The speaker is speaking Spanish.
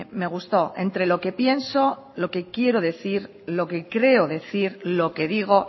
me gustó entre lo que pienso lo que quiero decir lo que creo decir lo que digo